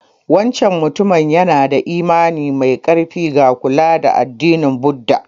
Wancan mutumin yana da imani mai ƙarfi ga addinin Buddha.